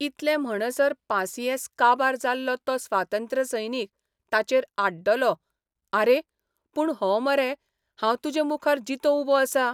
इतलें म्हणसर पासियेंस काबार जाल्लो तो स्वातंत्र्यसैनीक ताचेर आड्डलो आरे, पूण हो मरे हांव तुजे मुखार जितों उबो आसां.